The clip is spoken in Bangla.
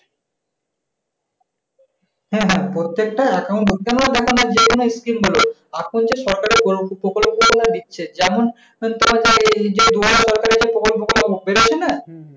হ্যাঁ হ্যাঁ পরতেকটা account তারপরে যে সরকারের প্রকল্প টা দিচ্ছে যেমন